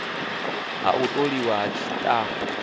ha u tholiwa ha tshitafu